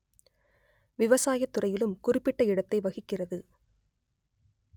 விவசாய துறையிலும் குறிப்பிட்ட இடத்தை வகிக்கிறது